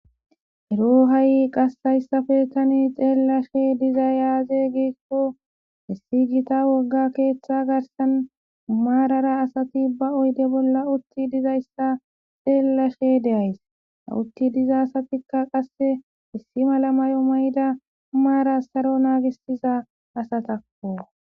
Ero ha7i qassayssafe tani xeellashe dizay aaze geekko issi gita wogga keeththa garsan maarara asati ba oyde bolla utti dizayssa xeellashe deays ,ha utti diza asatikka qasse issi mala mayo mayda maara saro naagisiza asatakko.